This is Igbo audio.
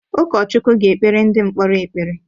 Ụkọchukwu ga-ekpere ndị mkpọrọ ekpere.